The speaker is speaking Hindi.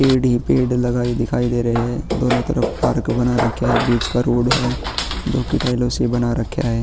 पेड़ ही पेड़ लगाए दिखाई दे रहे हैं। दोनों तरफ पार्क बना रखा है। बीच का रोड है जो की टाइलों से बना रख्या है।